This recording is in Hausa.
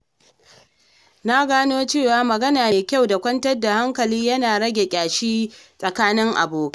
Na gano cewa magana mai kyau da kwantar da hankali yana rage ƙyashi a tsakanin abokai.